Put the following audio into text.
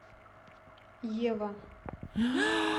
ева